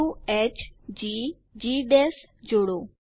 બિંદુ hgજી જોડો